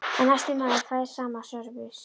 En næsti maður fær sama sörvis.